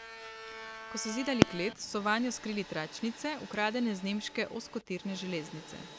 Ko so zidali klet, so vanjo skrili tračnice, ukradene z nemške ozkotirne železnice.